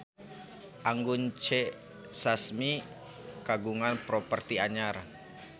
Anggun C. Sasmi kagungan properti anyar